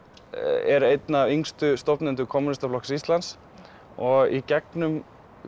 er einn af yngstu stofnendum kommúnistaflokks Íslands og í gegnum